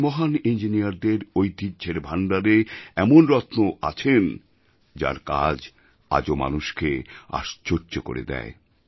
আমাদের মহান ইঞ্জিনিয়ারদের ঐতিহ্যের ভাণ্ডারে এমন রত্নও আছেন যাঁর কাজ আজও মানুষকে আশ্চর্য করে দেয়